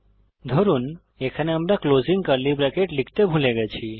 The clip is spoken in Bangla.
ধরুন এখানে আমরা লিখতে ভুলে গেছি